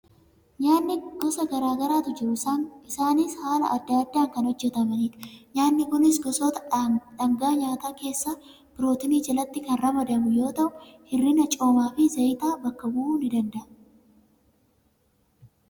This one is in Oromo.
Nyaatni gosa garaa garaatu jiru. Isaanis haala adda addaan kan hojjetamnidha. Nyaatni kun gosoota dhaangaa nyaataa keessaa pirootinii jalatti kan ramadamu yoo ta'u, hir'ina coomaa fi zayitaa bakka bu'uu ni danda'a.